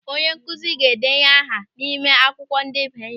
Onyenkụzi ga-edenye aha anyị n'ime akwụkwọ ndebanye ihe.